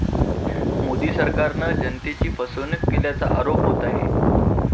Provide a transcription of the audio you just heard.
मोदी सरकारनं जनतेची फसवणूक केल्याचा आरोप होत आहे.